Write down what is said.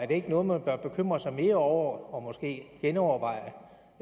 det ikke noget man bør bekymre sig mere over og måske genoverveje